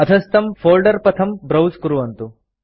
अधस्थं folder पथं browse कुर्वन्तु